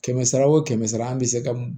Kɛmɛ sara wo kɛmɛ sara an be se ka